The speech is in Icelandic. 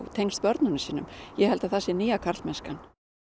tengst börnunum sínum ég held að það sé nýja karlmennskan